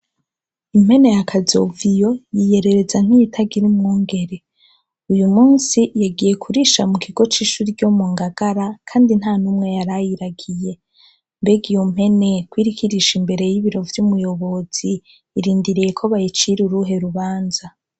Impene ya Kazoviyo yiyerereza nk'iyitagira umwungere. Uyu munsi yagiye kurisha mu kigo c'ishure ryo mu Ngagara, kandi nta n'umwe yari ayiragiye. Mbega iyo mpene ko iriko irisha imbere y'ibiro vy'umuyobozi, irindiriye ko bayicira uruhe rubanza ?